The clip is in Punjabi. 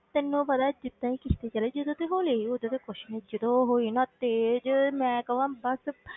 ਤੈਨੂੰ ਪਤਾ ਜਿੱਦਾਂ ਹੀ ਕਿਸ਼ਤੀ ਚੱਲੀ, ਜਦੋਂ ਤੇ ਹੌਲੀ ਸੀ ਉਦੋਂ ਤੇ ਕੁਛ ਨੀ ਜਦੋਂ ਹੋਈ ਨਾ ਤੇਜ਼ ਮੈਂ ਕਵਾਂ ਬਸ,